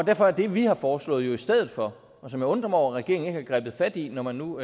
derfor er det vi har foreslået i stedet for og som jeg undrer mig over regeringen ikke har grebet fat i når man nu